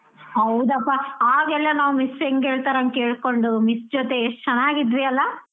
ಹೌದಪ್ಪ ಆಗೆಲ್ಲಾ ನಾವ್ miss ಹೆಂಗ್ ಹೇಳ್ತಾರೆ ಹಂಗ್ ಕೇಳ್ಕೊಂಡು miss ಜೋತ್ ಎಷ್ಟು ಚೆನ್ನಾಗಿದ್ವಿ ಅಲ್ಲಾ.